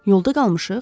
Yolda qalmışıq?